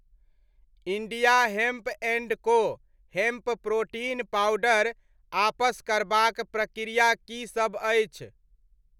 India hemp and co hemp protein powder आपस करबाक प्रक्रिया की सब अछि?